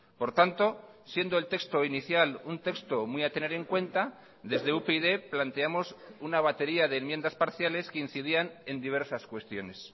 por tanto siendo el texto inicial un texto muy a tener en cuenta desde upyd planteamos una batería de enmiendas parciales que incidían en diversas cuestiones